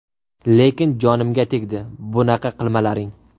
Lekin jonimga tegdi, bunaqa qilmalaring.